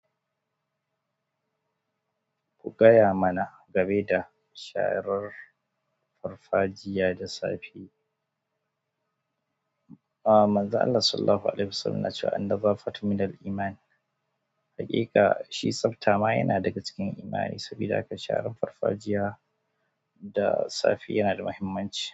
Ku gaya mana game da sharar farfajiya da safi. A manza Allah Sallallahu Alaihi Wasallam na cewa "An-naza fatun min al-imaan." Hakika shi tsafta ma yana daga cikin imani saboda haka shaharar farfajiya da safi yana da muhimmanci.